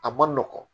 A ma nɔgɔn